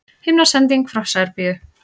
Himnasending frá Serbíu